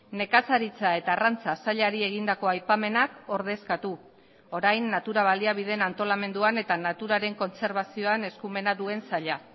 nekazaritza eta arrantza sailari egindako aipamenak ordezkatu orain natura baliabideen antolamenduan eta naturaren kontserbazioan eskumena duen saila